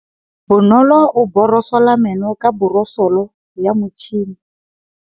Bonolô o borosola meno ka borosolo ya motšhine.